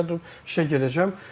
Səhər durub işə gedəcəm.